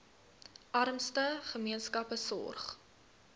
armste gemeenskappe sorg